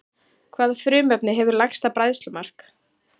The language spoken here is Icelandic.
Hvaða frumefni hefur lægsta bræðslumark?